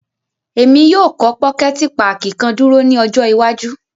Emi yóò kọ pokẹti pààki kan duro ni ọjọ iwaju.